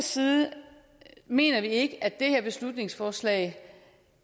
side mener vi ikke at det her beslutningsforslag